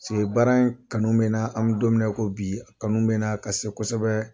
baara in kanu bɛ na an bɛ don mi na i ko bi a kanu bɛ na ka se kosɛbɛ.